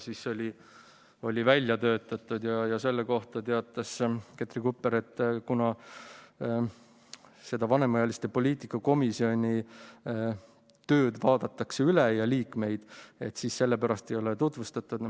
Selle kohta teatas Ketri Kupper, et kuna seda vanemaealiste poliitika komisjoni tööd ja liikmeid vaadatakse üle, siis sellepärast ei ole memorandumit tutvustatud.